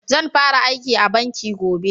Zan fara aiki a banki gobe